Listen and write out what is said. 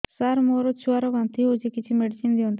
ସାର ମୋର ଛୁଆ ର ବାନ୍ତି ହଉଚି କିଛି ମେଡିସିନ ଦିଅନ୍ତୁ